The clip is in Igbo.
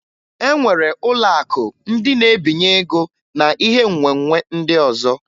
E nwere ụlọakụ ndị na-ebinye ego na ihe nwenwe ndị ọzọ